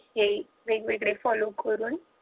हे वेगवेगळे follow करुण